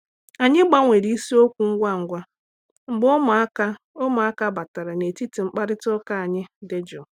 Anyị gbanwere isiokwu ngwa ngwa mgbe ụmụaka ụmụaka batara n’etiti mkparịta ụka anyị dị jụụ.